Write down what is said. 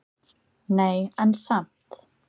Nei, en samt.